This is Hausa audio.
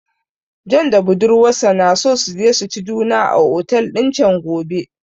John da budurwarsa na so su je su ci juna a otel din chan gobe